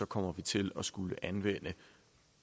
kommer vi til at skulle anvende